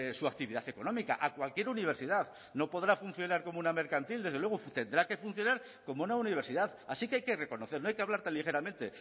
su actividad económica a cualquier universidad no podrá funcionar como una mercantil desde luego tendrá que funcionar como una universidad así que hay que reconocer no hay que hablar tan ligeramente